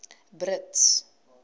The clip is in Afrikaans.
brits